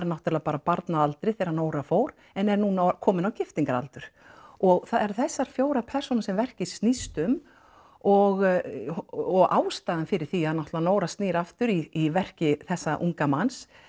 náttúrulega bara barn að aldri þegar Nóra fór en er núna komin á giftingaraldur og það eru þessar fjórar persónur sem verkið snýst um og og ástæðan fyrir því að náttúrulega Nóra snýr aftur í verki þessa unga manns